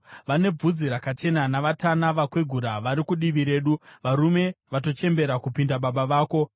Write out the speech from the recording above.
Vane bvudzi rakachena navatana vakwegura vari kudivi redu, varume vatochembera kupinda baba vako.